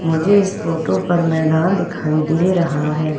मुझे इस फोटो पर मैदान दिखाई दे रहा है।